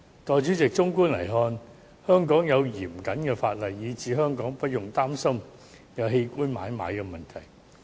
代理主席，綜觀來看，香港有嚴謹法例，使我們無須擔心香港會出現器官買賣的問題。